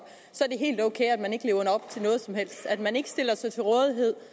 til noget som helst at man ikke stiller sig til rådighed